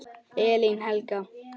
Elín Helga.